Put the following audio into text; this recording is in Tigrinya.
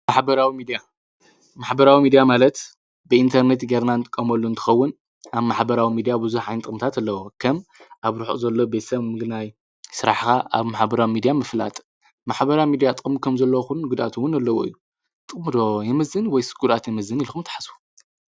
ማኅበራዊ ሚድያ ማለት ብኢንተርኔት ጌርናንቲ ቀመሉ እንትኸውን ኣብ ማኃበራዊ ሚዲያ ብዙ ኃይን ጥንታት ኣለዉ ከም ኣብ ርኁ ዘሎ ቤሰም ምግናይ ሥራሕኻ ኣብ ማሓበራዊ ሚድያ ምፍላጥ ማኃበራ ሚድያ ጠም ከም ዘለ ኹን ጕዳትውን ኣለዎዩ ጥምዶ የመዝን ወይ ሥጉራት የመዝን ኢልኹም ተሓሡ።